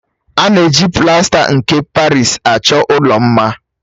A na-eji plasta nke Parịsi achọ ụlọ mma.